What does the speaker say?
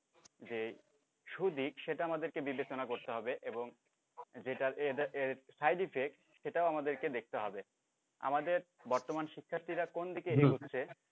যে সুদিক সেটা আমদেরকে বিবেচনা করতে হবে এবং যেটার এটার side effect সেটাও আমাদেরকে দেখতে হবে আমাদের বর্তমান শিক্ষার্থীরা কোন দিকে এগোচ্ছে